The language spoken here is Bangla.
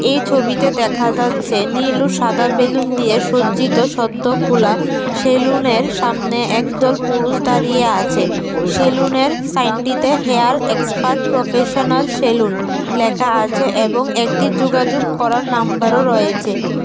এই ছবিতে দেখা যাচ্ছে নীল ও সাদা বেলুন দিয়ে সজ্জিত সদ্য খোলা সেলুনের সামনে একদল পুরুষ দাঁড়িয়ে আছে সেলুনের সাইনটিতে হেয়ার এক্সপার্ট প্রফেশনাল সেলুন লেখা আছে এবং একটি যুগাযুগ করার নাম্বারও রয়েছে।